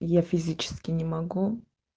я физически не могу